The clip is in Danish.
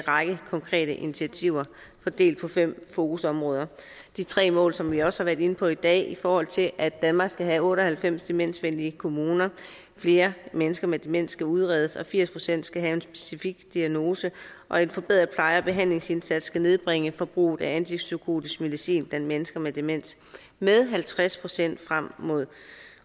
række konkrete initiativer fordelt på fem fokusområder de tre mål som vi også har været inde på i dag i forhold til at danmark skal have otte og halvfems demensvenlige kommuner er at flere mennesker med demens skal udredes firs procent skal have en specifik diagnose og en forbedret pleje og behandlingsindsats skal nedbringe forbruget af antipsykotisk medicin blandt mennesker med demens med halvtreds procent frem mod